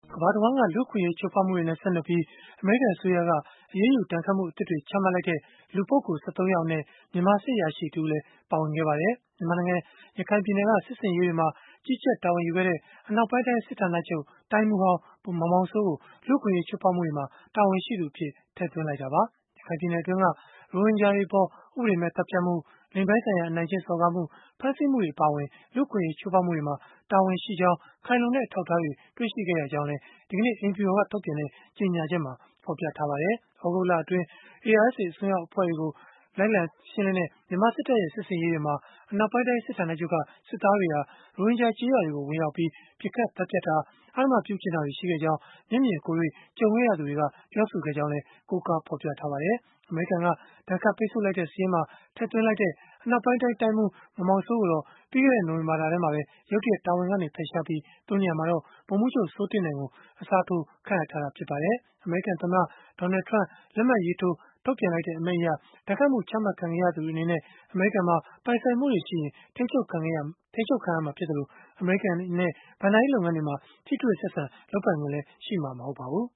ကမ္ဘာတဝှမ်းက လူ့အခွင့်အရေးချိုးဖောက်မှုတွေနဲ့ ဆက်နွယ်ပြီး အမေရိကန်အစိုးရက အရေးယူဒဏ်ခတ်မှုအသစ်တွေ ချမှတ်လိုက်တဲ့ လူပုဂ္ဂိုလ်(၁၃)ယောက်အနက် မြန်မာစစ်အရာရှိ တဦးလည်း ပါဝင်ခဲ့ပါတယ်။ မြန်မာနိုင်ငံက ရခိုင်ပြည်နယ် စစ်ဆင်ရေးတွေမှာ ကြီးကြပ်တာဝန်ယူခဲ့တဲ့ အနောက်ပိုင်းတိုင်း စစ်ဌာနချုပ်တိုင်းမှူးဟောင်း ဗိုလ်ချုပ်မောင်မောင်စိုးကို လူ့အခွင့်အရေးချိုးဖောက်မှုတွေမှာ တာဝန်ရှိသူအဖြစ် ထည့်သွင်းလိုက်တာပါ။ ရခိုင်ပြည်နယ်တွင်းက ရိုဟင်ဂျာတွေအပေါ် ဥပဒေမဲ့သတ်ဖြတ်မှု လိင်ပိုင်းဆိုင်ရာ အနိုင်ကျင့်စော်ကားမှု ဖမ်းဆီးမှုတွေအပါအဝင် လူ့အခွင့်အရေးချိုးဖောက်မှုတွေမှာ တာဝန်ရှိကြောင်း ခိုင်လုံတဲ့အထောက်အထားတွေ တွေ့ရှိခဲ့တာကြောင့် ဆိုပြီး ဒီကနေ့ အိမ်ဖြူတော်က ထုတ်ပြန်တဲ့ကြေညာချက်မှာ ဖော်ပြထားပါတယ်။ သြဂုတ်လအတွင်း ARSA အစွမ်းရောက်အဖွဲ့တွေကို လိုက်လံရှင်းလင်းတဲ့ မြန်မာစစ်တပ်ရဲ့ စစ်ဆင်ရေးတွေမှာ အနောက်ပိုင်းတိုင်းစစ်ဌာနချုပ်က စစ်သားတွေဟာ ရိုဟင်ဂျာကျေးရွာတွေကို ဝင်ရောက်ပြီး ပစ်ခတ်သတ်ဖြတ်တာ အဓမ္မပြုကျင့်တာတွေ ရှိခဲ့ကြောင်း မျက်မြင်ကိုယ်တွေ့ကြုံတွေ့ခဲ့ရသူတွေက ပြောဆိုခဲ့ကြောင်းလည်း ကိုးကားဖော်ပြထားပါတယ်။ အမေရိကန်က ဒဏ်ခတ်ပိတ်ဆို့လိုက်တဲ့စာရင်းမှာ အနောက်ပိုင်းတိုင်းတိုင်းမှူး ဗိုလ်ချုပ်မောင်မောင်စိုးကိုတော့ ပြီးခဲ့တဲ့ နိုဝင်ဘာလထဲမှာပဲ ရုတ်တရက် တာဝန်ကနေ ဖယ်ရှားပြီး သူ့နေရာမှာတော့ ဗိုလ်မှူးချုပ်စိုးတင့်နိုင်ကို အစားထိုး ခန့်အပ်ထားတာဖြစ်ပါတယ်။ အမေရိကန်သမ္မတ ဒေါနယ်လ်ထရမ့် လက်မှတ်ရေးထိုးထုတ်ပြန်လိုက်တဲ့ အမိန့်အရ ဒဏ်ခတ်မှု ချမှတ်ခံလိုက်ရသူတွေအနေနဲ့ အမေရိကန်မှာ ပိုင်ဆိုင်မှုတွေရှိရင် ထိန်းချုပ်ခံရမှာဖြစ်သလို အမေရိကန်နဲ့ ဘဏ္ဍာရေးလုပ်ငန်းတွေမှာ ထိတွေ့ဆက်ဆံ လုပ်ပိုင်ခွင့်လည်း ရှိမှာမဟုတ်ပါဘူး